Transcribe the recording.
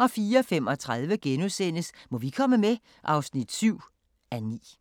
04:35: Må vi komme med? (7:9)*